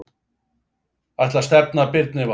Ætlar að stefna Birni Val